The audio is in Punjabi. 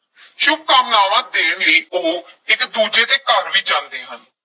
ਸ਼ੁਭਕਾਮਨਾਵਾਂ ਦੇਣ ਲਈ ਉਹ ਇਕ ਦੂਜੇ ਦੇ ਘਰ ਵੀ ਜਾਂਦੇ ਹਨ।